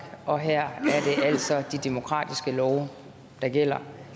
og her er det altså de demokratiske love der gælder